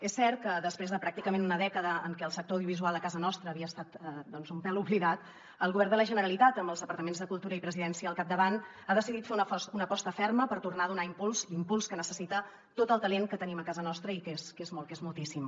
és cert que després de pràcticament una dècada en què el sector audiovisual a casa nostra havia estat un pèl oblidat el govern de la generalitat amb els departaments de cultura i presidència al capdavant ha decidit fer una aposta ferma per tornar a donar impuls l’impuls que necessita a tot el talent que tenim a casa nostra i que és molt que és moltíssim